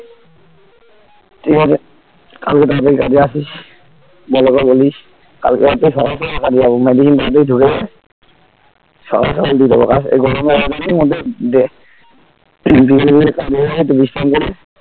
ঠিক আছে কালকে তাড়াতাড়ি কাজে আসিস বলো কে বলিস কালকে থেকে সকাল থেকে কাজে যাবো . মাঠে ঢুকে যায় সকাল সকাল দিয়ে দেব কাজ এই গরমে . মধ্যে ফের বিকেলের দিকে কাজে যাবো একটু বিশ্রাম করে